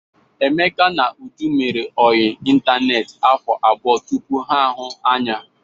Emeka na Uju mere ọyị ịntaneetị afọ abụọ tupu ha ahụ anya.